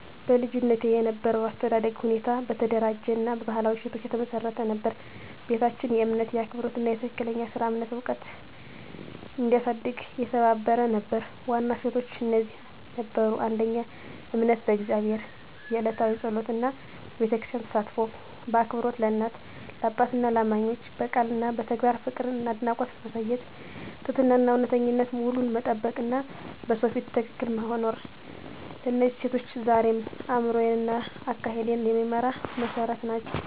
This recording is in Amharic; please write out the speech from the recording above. በልጅነቴ የነበረው የአስተዳደግ ሁኔታ በተደራጀ እና በባህላዊ እሴቶች የተመሰረተ ነበር። ቤታችን የእምነት፣ የአክብሮት እና የትክክለኛ ሥራ እምነት ዕውቀት እንዲያሳድግ የተባበረ ነበር። ዋና እሴቶች እነዚህ ነበሩ: 1. እምነት በእግዚአብሔር፣ የዕለታዊ ጸሎት እና በቤተክርስቲያን ተሳትፎ። 2. አክብሮት ለእናት፣ ለአባትና ለእማኞች፣ በቃል እና በተግባር ፍቅርና አድናቆት ማሳየት። 3. ትህትናና እውነተኝነት፣ ውሉን መጠበቅ እና በሰው ፊት ትክክል መኖር። እነዚህ እሴቶች ዛሬም አእምሮዬን እና አካሄዴን የሚመራ መሠረት ናቸው።